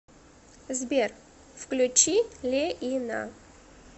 сбер включи леина